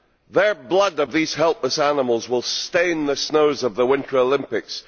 The blood of these helpless animals will stain the snows of the Winter Olympics.